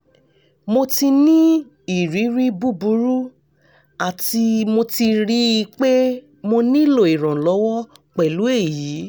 mo ti ni iriri buburu ati mo ti rii pe mo nilo iranlọwọ pẹlu eyi